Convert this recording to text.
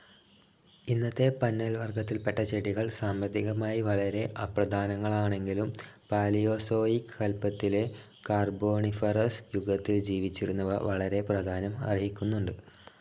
ഇന്നത്തെ പന്നൽ വർഗത്തിൽപ്പെട്ട ചെടികൾ സാമ്പത്തികമായി വളരെ അപ്രധാനങ്ങളാണെങ്കിലും പാലിയോസോയിക് കല്പത്തിലെ കാർബോണിഫറസ്‌ യുഗത്തിൽ ജീവിച്ചിരുന്നവ വളരെ പ്രാധാന്യം അർഹിക്കുന്നുണ്ട്.